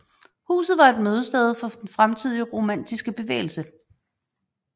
Huset var et mødested for den tidlige romantiske bevægelse